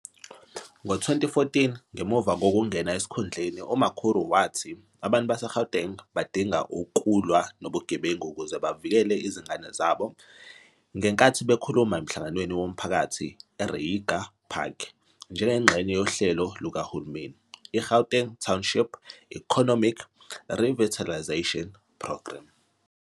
Ngo-2014 ngemuva kokungena esikhundleni uMakhura wathi abantu baseGauteng badinga ukulwa nobugebengu ukuze bavikele izingane zabo ngenkathi bekhuluma emhlanganweni womphakathi eReiger Park njengengxenye yohlelo lukahulumeni, iGauteng Township Economy Revitalisation Programme.